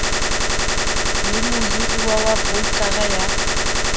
le mohirwa wa broukara ya